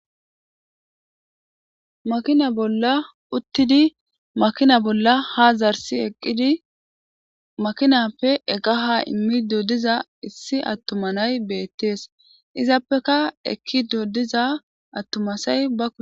makina bolla uttidi makina bolla ha zarsi eqqidi makinappe egaha immi dodiza issi attuma nay beettees izaappeka ekki doodiza attumasay bak